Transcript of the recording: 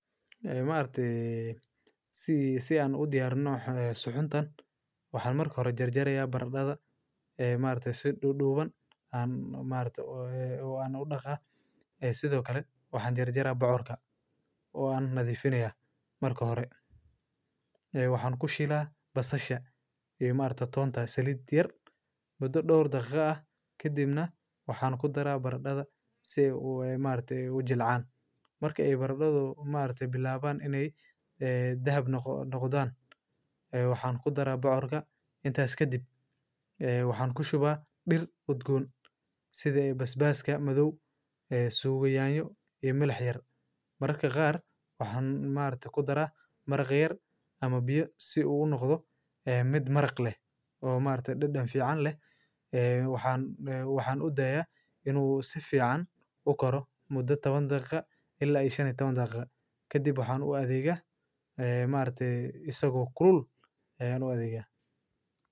Ee maarte sii si aan u diyaar nooc ee sucuntan. Waxaan marka hore jarjaraya baradhada ee maarta si du dhubeen aan maarta oo aan u dhaqa. Ee sidoo kale waxaan jarjara bocorka oo aan nadiifinayaa marka hore. Ee waxaan ku shilaa basasha ee maarta toonta saliidiyad. Mudo dhowr daqiiqo ah ka dibna waxaan ku daraa baradhada si uu ee maarta u jilcaan. Marka ay baradhado maarta bilaabaan inay ee dahab noq noqdaan. Waxaan ku daraa bocorka intaas ka dib ee waxaan ku shubaa dhir codgoon sidee basbaaska madow ee suuga yaanyo iyo milaxyar. Marka qaar waxaan maarta ku daraa maragheer ama biyo si uu u noqdo mid maraq leh oo maarta dhan fiican leh. Ee waxaan ee waxaan u daya inuu si fiican u karo muddo taban daqiiqo ilaa ishee taban daqiiqo. Ka dib waxaan u adeega ee maarta isagu kurul ee aan u adeega.